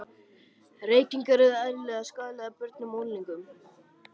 Reykingar eru eðlilegar skaðlegar börnum og unglingum.